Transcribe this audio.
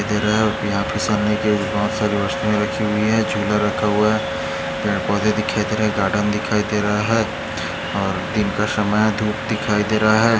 दिखाई दे रहाय और यहाँ पे सामने में बहोत सारे वस्तूऐ रखी हुई है झूला रखा हुआ है यहाँ पौंधे दिखाई दे रहे गार्डन दिखाई दे रहाय और दिन का समय है धूप दिखाई दे रहा है।